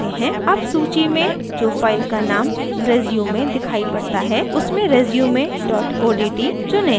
अब सूची में जो file का name resume दिखाई पड़ता है उसमें resume dot odt चुनें